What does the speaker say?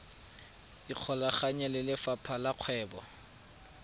ikgolaganye le lefapha la kgwebo